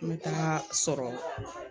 N bɛ taa sɔrɔ